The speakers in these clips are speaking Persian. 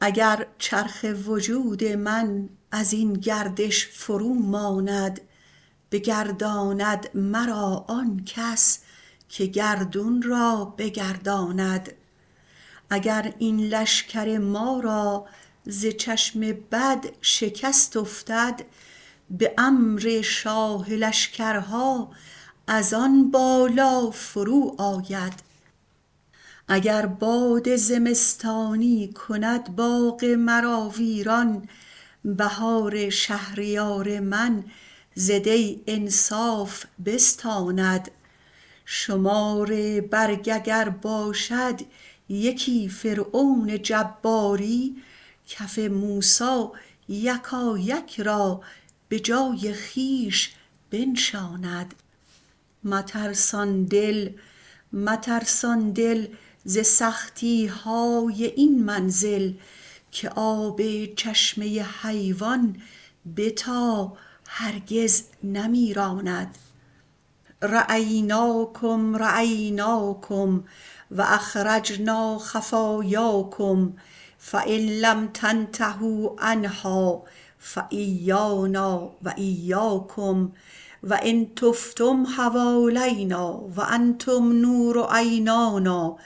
اگر چرخ وجود من از این گردش فروماند بگرداند مرا آن کس که گردون را بگرداند اگر این لشکر ما را ز چشم بد شکست افتد به امر شاه لشکرها از آن بالا فروآید اگر باد زمستانی کند باغ مرا ویران بهار شهریار من ز دی انصاف بستاند شمار برگ اگر باشد یکی فرعون جباری کف موسی یکایک را به جای خویش بنشاند مترسان دل مترسان دل ز سختی های این منزل که آب چشمه حیوان بتا هرگز نمیراند رأیناکم رأیناکم و اخرجنا خفایاکم فإن لم تنتهوا عنها فإیانا و إیاکم و ان طفتم حوالینا و انتم نور عینانا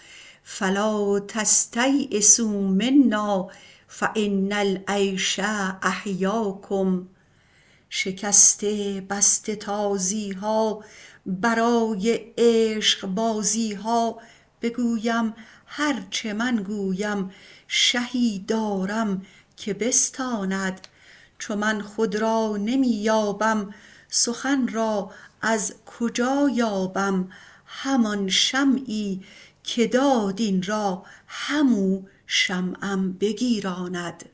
فلا تستییسوا منا فإن العیش احیاکم شکسته بسته تازی ها برای عشقبازی ها بگویم هر چه من گویم شهی دارم که بستاند چو من خود را نمی یابم سخن را از کجا یابم همان شمعی که داد این را همو شمعم بگیراند